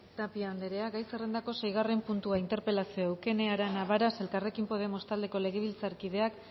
tapia andrea gai zerrendako seigarren puntua interpelazioa eukene arana varas elkarrekin podemos taldeko legebiltzarkideak